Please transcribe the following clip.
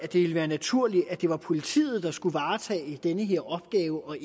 det ville være naturligt at det var politiet der skulle varetage den her opgave og